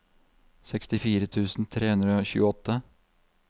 sekstifire tusen tre hundre og tjueåtte